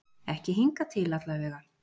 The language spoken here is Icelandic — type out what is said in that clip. Ekki hingað til allavega.